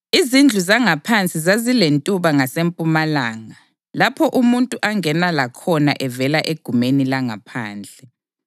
Izindlu zangaphansi zazilentuba ngasempumalanga lapho umuntu angena lakhona evela egumeni langaphandle.